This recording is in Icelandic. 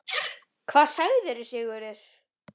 Hvað segir Sigurður?